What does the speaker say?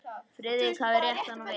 Friðrik hafði rétt hann við.